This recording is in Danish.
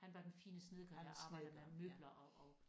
Han var den fine snedker han arbejdede med møbler og og